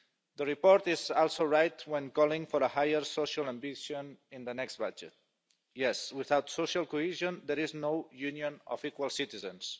The report is also right when calling for a higher social ambition in the next budget. Yes, without social cohesion, there is no union of equal citizens.